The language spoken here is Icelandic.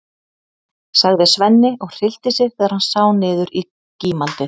sagði Svenni og hryllti sig þegar hann sá niður í gímaldið.